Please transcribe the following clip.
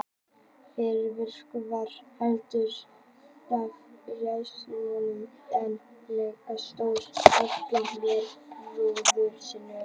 Fyrir vikið var hann eltur af refsinornunum en Elektra stóð ávallt með bróður sínum.